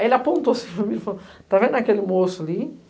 Aí ele apontou-se para mim e falou, está vendo aquele moço ali?